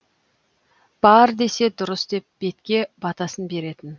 бар десе дұрыс деп бетке батасын беретін